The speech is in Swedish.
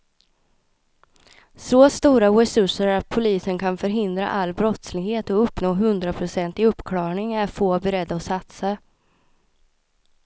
Så stora resurser att polisen kan förhindra all brottslighet och uppnå hundraprocentig uppklarning är få beredda att satsa.